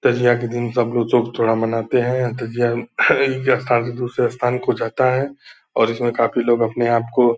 तजिया के दिन सब लोग शोक थोड़ा मनाते हैं। यह तजिया एक स्थान से दुसरे स्थान को जाता है और इसमें काफ़ी लोग अपने आप को --